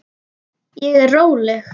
Ég er róleg.